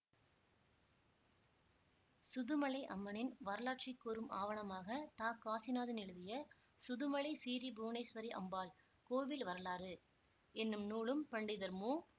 சுதுமலை அம்மனின் வரலாற்றை கூறும் ஆவணமாக த காசிநாதன் எழுதிய சுதுமலை சிறீ புவனேஸ்வரி அம்பாள் கோவில் வரலாறு என்னும் நூலும் பண்டிதர் மு